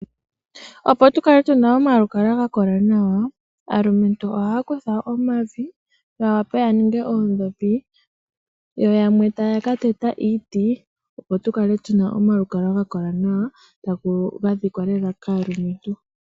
Opo tukale tuna omalukalwa ga kola nawa aalumentu ohaya kutha omavi yawape yaninge oondhopi yo yamwe taya ka teta iiti opo tukale tuna omalukalwa ga kola nawa ga dhikwa lela kaalumentu.